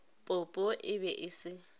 popo e be e se